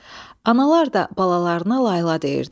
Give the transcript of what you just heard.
Analar da balalarına layla deyirdi.